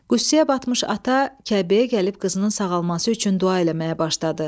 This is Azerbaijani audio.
Qüssəyə batmış ata Kəbəyə gəlib qızının sağalması üçün dua eləməyə başladı.